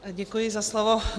Děkuji za slovo.